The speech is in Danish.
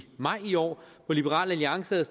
maj i år hvor liberal alliance havde